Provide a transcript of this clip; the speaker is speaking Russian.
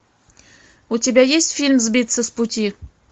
у тебя есть фильм сбиться с пути